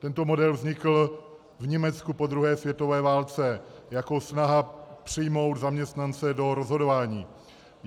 Tento model vznikl v Německu po druhé světové válce jako snaha přijmout zaměstnance do rozhodování.